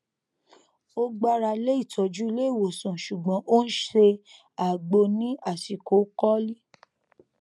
ó gbára lé ìtọjú ilé ìwòsàn ṣùgbọn ó n ṣe àgbo ní àsìkò kọlí